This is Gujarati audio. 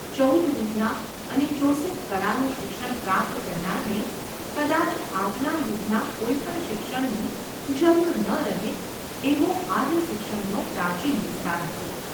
ચૌદ વિદ્યા અને ચોસઠ કળાનું શિક્ષણ પ્રાપ્ત કરનારને કદાચ આજના યુગના કોઈ પણ શિક્ષણની જરૂર ન રહે એવો આર્ય શિક્ષણનો પ્રાચીન વિસ્તાર હતો.